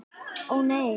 Ó nei.